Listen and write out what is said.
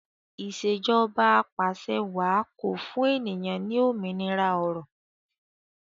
Ìṣèjọba Apàṣẹwàá ko fún ènìyàn ní òmìnira ọrọ